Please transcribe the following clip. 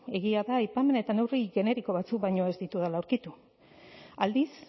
egia da aipamen generiko batzuk baino ez ditudala aurkitu aldiz